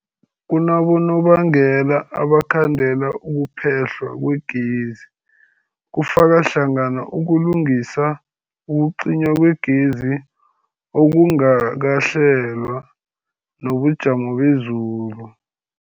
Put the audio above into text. Kunabonobangela abangakhandela ukuphehlwa kwegezi, kufaka hlangana ukulungisa, ukucinywa kwegezi okungakahlelwa, nobujamo bezulu.